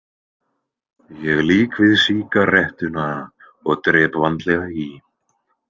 Ég lýk við sígarettuna og drep vandlega í.